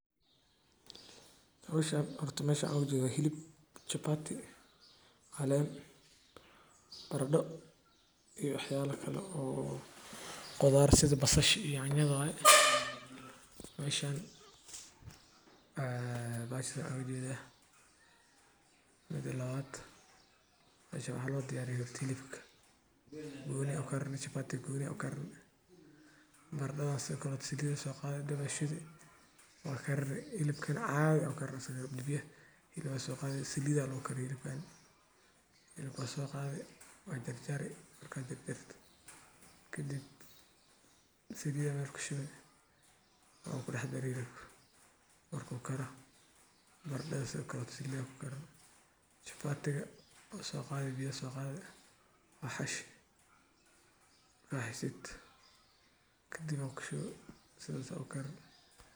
Howshan horta mesha waxan ujeda hilib chapati, caleyn, barado iyo waxyala kala o khudar sida basasha yanya waya meshan maxa ujeda bahasha midi labad meshan waxa lodiyariyo hilbka goni a u karini chapati iga goni a ukarini baradas sido kale salid a soqadi daba shidi wa wakarini hibkana cadi a ukarini asaga hilbi a soqadi salid a lagu kariya hilbkan. Hilibka wa soqadi wajarjari maraka jarjarto kadib salid yar kushubi waku daxdari hilibka marku kara barada sido kaleto salid akukarini chapati iga wa soqadi wa xashi marka xashid kadib a kushubi sidas a ukarini.